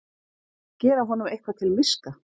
Gera honum eitthvað til miska!